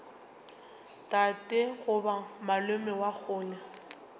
tate goba malome wa kgole